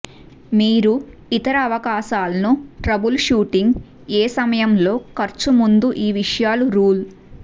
మీరు ఇతర అవకాశాలను ట్రబుల్షూటింగ్ ఏ సమయంలో ఖర్చు ముందు ఈ విషయాలు రూల్